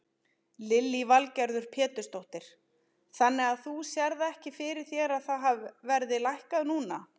Lillý Valgerður Pétursdóttir: Þannig að þú sérð ekki fyrir þér að það verði lækkað núna?